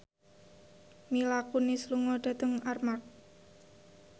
Mila Kunis lunga dhateng Armargh